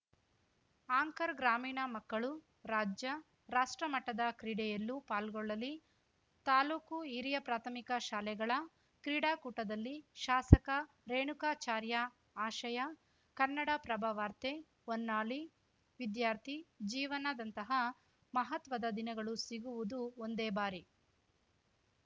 anchor ಗ್ರಾಮೀಣ ಮಕ್ಕಳು ರಾಜ್ಯ ರಾಷ್ಟ್ರಮಟ್ಟದ ಕ್ರೀಡೆಯಲ್ಲೂ ಪಾಲ್ಗೊಳ್ಳಲಿ ತಾಲೂಕು ಹಿರಿಯ ಪ್ರಾಥಮಿಕ ಶಾಲೆಗಳ ಕ್ರೀಡಾಕೂಟದಲ್ಲಿ ಶಾಸಕ ರೇಣುಕಾಚಾರ್ಯ ಆಶಯ ಕನ್ನಡಪ್ರಭ ವಾರ್ತೆ ಹೊನ್ನಾಳಿ ವಿದ್ಯಾರ್ಥಿ ಜೀವನದಂತಹ ಮಹತ್ವದ ದಿನಗಳು ಸಿಗುವುದು ಒಂದೇ ಬಾರಿ